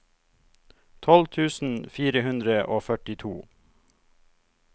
tolv tusen fire hundre og førtito